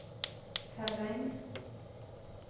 Herräng